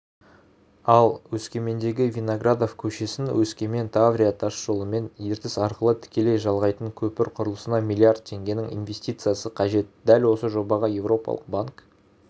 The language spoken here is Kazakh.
ал өскемендегі виноградов көшесін өскемен-таврия тасжолымен ертіс арқылы тікелей жалғайтын көпір құрылысына млрд теңгенің инвестициясы қажет дәл осы жобаға еуропалық банк